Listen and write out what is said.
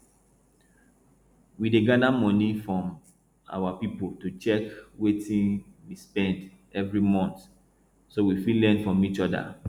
we dey gather money from our people to check wetin we spend every month so we fit learn from each other